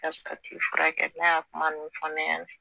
furakɛ n'a y'a kuma ninnu fɔ ne ɲɛna